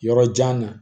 Yɔrɔ jan na